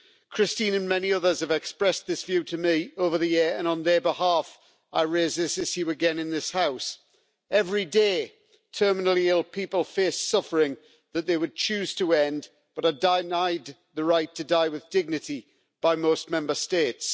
Christine and many others have expressed this view to me over the years and, on their behalf, I raise this issue again in this House. Every day, terminally ill people face suffering that they would choose to end, but are denied the right to die with dignity by most Member States.